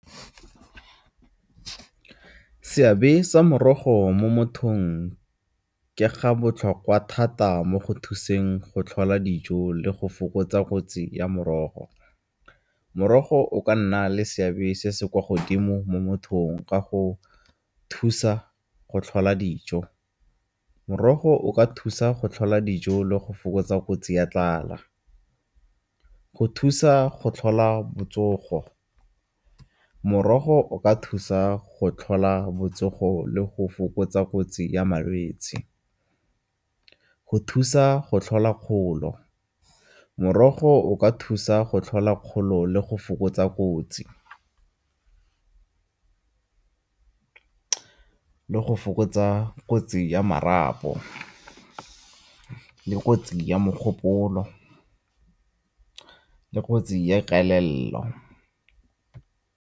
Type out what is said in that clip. Seabe sa morogo mo mothong ke ga botlhokwa thata mo go thuseng go tlhola dijo le go fokotsa kotsi ya morogo. Morogo o ka nna le seabe se se kwa godimo mo mothong ka go thusa go tlhola dijo, morogo o ka thusa go tlhola dijo le go fokotsa kotsi ya tlala. Go thusa go tlhola botsogo, morogo o ka thusa go tlhola botsogo le go fokotsa kotsi ya malwetse. Go thusa go tlhola kgolo, morogo o ka thusa go tlhola kgolo le go fokotsa kotsi, go fokotsa kotsi ya marapo le kotsi ya mogopolo le kotsi ya kelello.